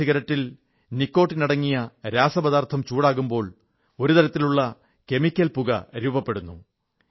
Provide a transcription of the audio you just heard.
ഇസിഗരറ്റിൽ നിക്കോട്ടിനടങ്ങിയ തരളപദാർഥം ചൂടാകുമ്പോൾ ഒരു തരത്തിലുള്ള രസായനിക കെമിക്കൽ പുക രൂപപ്പെടുന്നു